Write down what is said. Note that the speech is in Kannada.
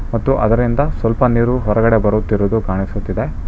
ಮತ್ತು ಅದರಿಂದ ಸ್ವಲ್ಪ ನೀರು ಹೊರಗಡೆ ಬರುತ್ತಿರುವುದು ಕಾಣಿಸುತ್ತಿದೆ.